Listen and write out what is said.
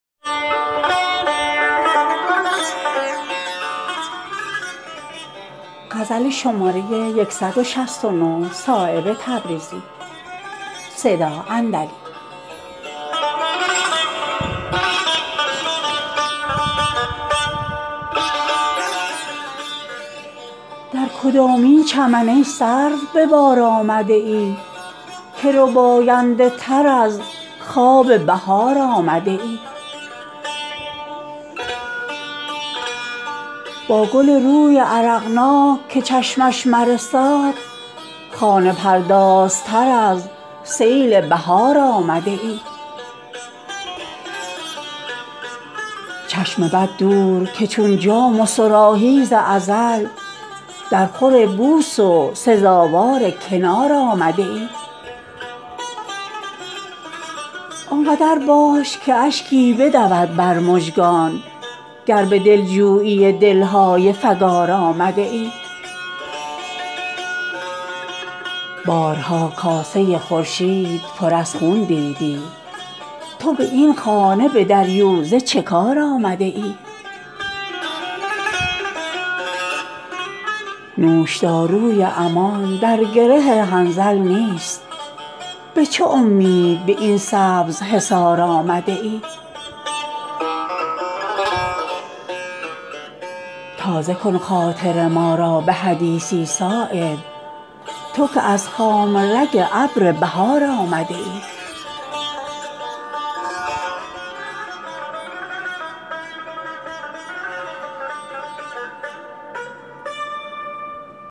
در کدامین چمن ای سرو به بار آمده ای که رباینده تر از خواب بهار آمده ای با گل روی عرقناک که چشمش مرساد خانه پردازتر از سیل بهار آمده ای چشم بد دور که چون جام و صراحی ز ازل درخور بوس و سزاوار کنار آمده ای آنقدر باش که اشکی بدود بر مژگان گر به دلجویی دل های فگار آمده ای قلم موی حواس تو پریشان شده است تا به این خانه پر نقش و نگار آمده ای بارها کاسه خورشید پر از خون دیدی تو به این خانه به دریوزه چه کار آمده ای نوشداروی امان در گره حنظل نیست به چه امید به این سبز حصار آمده ای تازه کن خاطر ما را به حدیثی صایب تو که از خامه رگ ابر بهار آمده ای